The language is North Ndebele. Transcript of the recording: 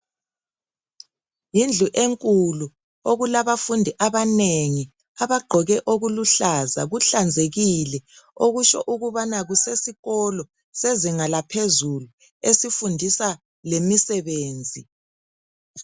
Yidlu enkulu okulabafundi abanengi, abagqoke okuluhlaza kuhlanzekile, okutsho okubana kusesikolo sezinga laphezulu esifundisa lemisebenzi.